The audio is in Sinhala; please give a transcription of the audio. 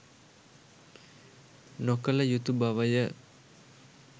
නොකළ යුතු බවය.